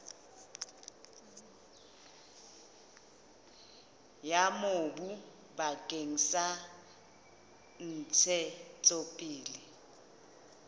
ya mobu bakeng sa ntshetsopele